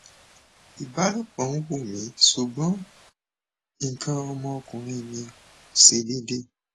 ibalopo n wun mi sugbon ikan omo okunrin mi se dede